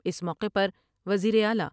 اس موقع پر وزیراعلی ۔